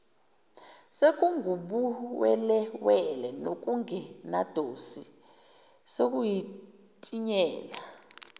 sekungubuwelewele nokungenadosi sekutinyela